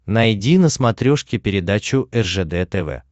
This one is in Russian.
найди на смотрешке передачу ржд тв